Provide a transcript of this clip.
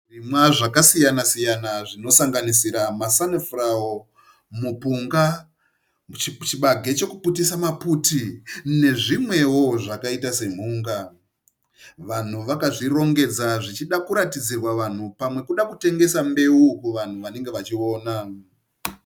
Zvirimwa zvakasiyana siyana zvinosanganisira masanifurawo, mupunga, chibage chokuputisa maputi nezvimwewo zvakaita semhunga. Vanhu vakazvirongedza zvichida kuratidzirwa vanhu pada kuda kutangesa mbeu kuvanhu vanenge vachiona.